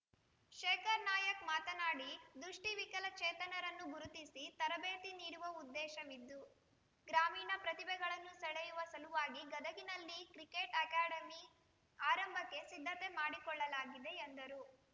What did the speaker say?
ಶೇಖರ್‌ ನಾಯ್ಕ್ ಮಾತನಾಡಿ ದೃಷ್ಟಿವಿಕಲಚೇತನರನ್ನು ಗುರುತಿಸಿ ತರಬೇತಿ ನೀಡುವ ಉದ್ದೇಶವಿದ್ದು ಗ್ರಾಮೀಣ ಪ್ರತಿಭೆಗಳನ್ನು ಸೆಳೆಯುವ ಸಲುವಾಗಿ ಗದಗಿನಲ್ಲಿ ಕ್ರಿಕೆಟ್‌ ಅಕಾಡೆಮಿ ಆರಂಭಕ್ಕೆ ಸಿದ್ಧತೆ ಮಾಡಿಕೊಳ್ಳಲಾಗಿದೆ ಎಂದರು